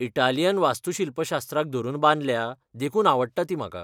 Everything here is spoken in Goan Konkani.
इटालियन वास्तूशिल्पशास्त्राक धरून बांदल्या, देखून आवडटा ती म्हाका.